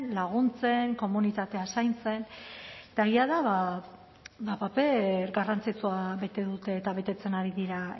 laguntzen komunitatea zaintzen eta egia da paper garrantzitsua bete dute eta betetzen ari dira